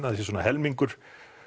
að það sé svona helmingur